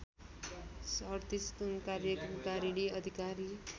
३७ कार्यकारिणी अधिकार